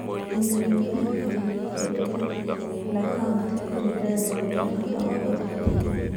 Wĩra wa Thirikari ya Bũrũri na Kauntĩ kũringana na Ũtungata wa Ũrutani